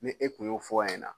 Ni e tun y'o fɔ o ɲɛna